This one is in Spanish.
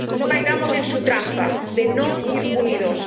No caigamos en su trampa de no ir unidos.